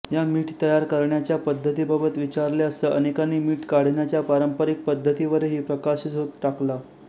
या मीठ तयार करण्याच्या पद्धतीबाबत विचारले असताअनेकांनी मीठ काढण्याच्या पारंपरिक पद्धतीवरही प्रकाशझोत टाकला